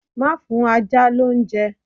Má fún ajá lóúnjẹ.